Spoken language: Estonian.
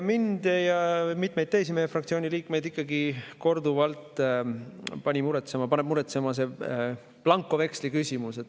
Mind ja mitmeid teisi meie fraktsiooni liikmeid on pannud ikkagi korduvalt muretsema blankoveksli küsimus.